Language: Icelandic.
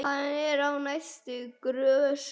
Hann er á næstu grösum.